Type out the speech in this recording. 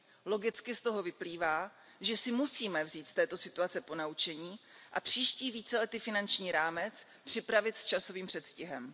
Logicky z toho vyplývá, že si musíme vzít z této situace ponaučení a příští víceletý finanční rámec připravit s časovým předstihem.